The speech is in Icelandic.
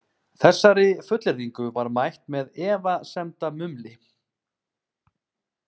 Þessari fullyrðingu var mætt með efasemdamumli.